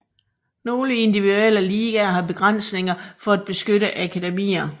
Nogle individuelle ligaer har begrænsninger for at beskytte akademier